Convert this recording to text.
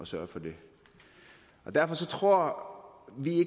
sørge for det derfor tror vi